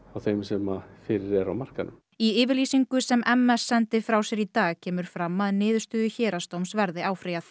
þeim sem fyrir eru á markaðnum í yfirlýsingu sem m s sendi frá sér í dag kemur fram að niðurstöðu héraðsdóms verði áfrýjað